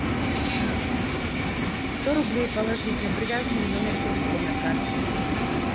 сто рублей положить на привязанный номер телефона к карте